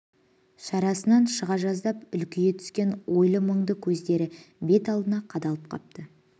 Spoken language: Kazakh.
шарасынан шыға жаздап үлкейе түскен ойлы мұнды көздері бет алдына қадалып қапты